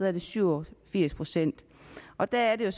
er det syv og firs procent og der er det